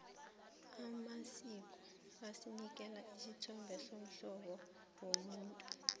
amasiko asinikela isithombe somhlobo womuntu